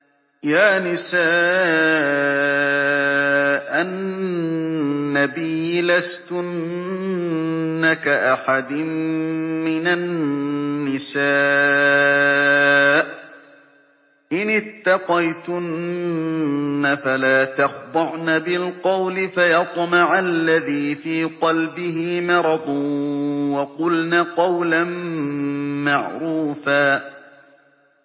يَا نِسَاءَ النَّبِيِّ لَسْتُنَّ كَأَحَدٍ مِّنَ النِّسَاءِ ۚ إِنِ اتَّقَيْتُنَّ فَلَا تَخْضَعْنَ بِالْقَوْلِ فَيَطْمَعَ الَّذِي فِي قَلْبِهِ مَرَضٌ وَقُلْنَ قَوْلًا مَّعْرُوفًا